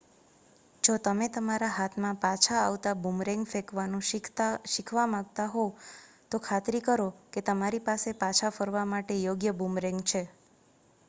જો તમે તમારા હાથમાં પાછા આવતા બૂમરેંગ ફેંકવાનું શીખવા માંગતા હોય તો ખાતરી કરો કે તમારી પાસે પાછા ફરવા માટે યોગ્ય બૂમરેંગ છે